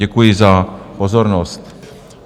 Děkuji za pozornost.